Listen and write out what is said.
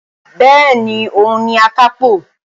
Bẹ́ẹ̀ni, òun ni Akápò